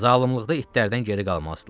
Zalılıqda itlərdən geri qalmazdılar.